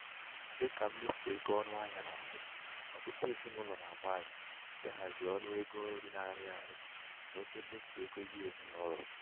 dị ka mmefu ego ọnụ ahịa na-arị ọtụtụ ezinụlọ na -agbalị ịhazi ọnụ ego nri na-arị arị na oke mmefu ego ihe ezinaụlọ